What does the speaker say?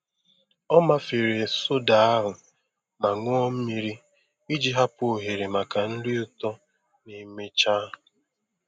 Ọ mafere soda ahụ ma ṅụọ mmiri iji hapụ ohere maka nri ụtọ ma emechaa.